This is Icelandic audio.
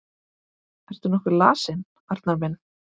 Ertu nokkuð lasinn, Arnar minn?